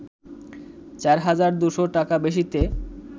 ৪ হাজার ২০০ টাকা বেশিতে